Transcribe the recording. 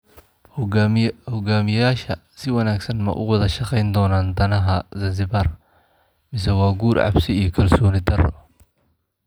Hogaamiyayaasha si wanaagsan ma uga wada shaqayn doonaan danaha Zanzibar, mise waa guur cabsi iyo kalsooni darro?